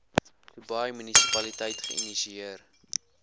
dubai munisipaliteit geïnisieer